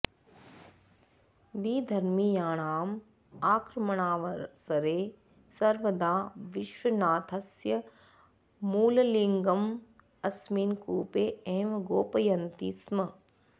विधर्मीयाणाम् आक्रमणावसरे सर्वदा विश्वनाथस्य मूललिङ्गम् अस्मिन् कूपे एव गोपयन्ति स्म